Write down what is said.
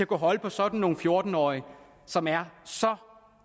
kunne holde på sådan nogle fjorten årige som er så